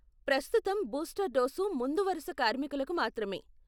ప్రస్తుతం booster dose ముందు వరుస కార్మికులకు మాత్రమే.